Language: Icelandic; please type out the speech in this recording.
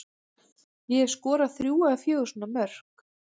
Ég hef skorað þrjú eða fjögur svona mörk.